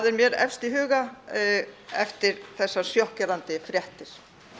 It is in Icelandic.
mér efst í huga eftir þessar sjokkerandi fréttir